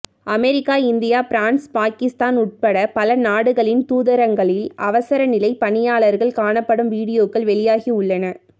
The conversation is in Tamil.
அமெரிக்கா இந்தியா பிரான்ஸ் பாக்கிஸ்தான் உட்பட பல நாடுகளின் தூதரகங்களில் அவசரநிலை பணியாளர்கள் காணப்படும் வீடியோக்கள் வெளியாகியுள்ளன